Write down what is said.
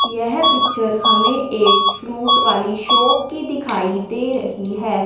यह पिक्चर हमें एक फ्रूट वाली शॉप की दिखाई दे रही है।